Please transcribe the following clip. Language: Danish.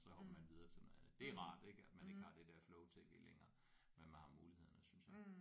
Så hopper man videre til noget andet det er rart ik at man ikke har det der flow-tv længere men man har mulighederne synes jeg